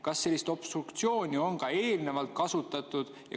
Kas sellist obstruktsiooni on ka eelnevalt kasutatud?